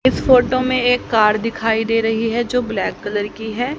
इस फोटो में एक कार दिखाई दे रही है जो ब्लैक कलर की है।